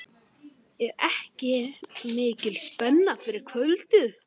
Er ekki mikil spenna fyrir kvöldið?